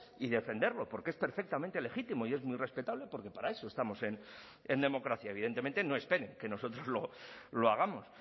y defenderlo porque es perfectamente legítimo y es muy respetable porque para eso estamos en democracia evidentemente no esperen que nosotros lo hagamos